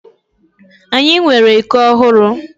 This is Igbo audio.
Anyị nwere iko ọhụrụ.